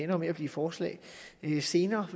jo med at blive forslag senere